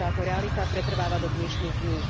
A táto realita pretrváva do dnešných dní.